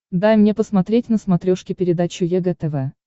дай мне посмотреть на смотрешке передачу егэ тв